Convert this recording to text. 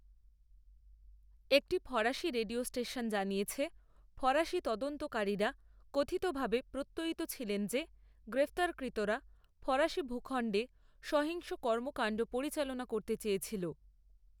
একটি ফরাসি radio station জানিয়েছে, ফরাসি তদন্তকারীরা কথিতভাবে প্রত্যয়িত ছিলেন যে গ্রেপ্তারকৃতরা ফরাসি ভূখণ্ডে সহিংস কর্মকাণ্ড পরিচালনা করতে চেয়েছিল।